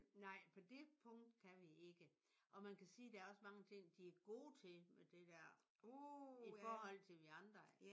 Nej på det punkt kan vi ikke. Og man kan sige der er også mange ting de er gode til med det der. I forhold til vi andre